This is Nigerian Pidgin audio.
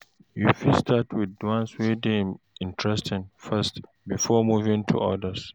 You fit start with the ones wey dey interesting first before moving to others